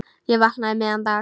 Ég vaknaði um miðjan dag.